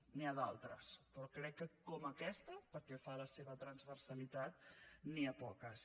n’hi ha d’altres però crec que com aquesta pel que fa a la seva transversalitat n’hi ha poques